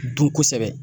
Dun kosɛbɛ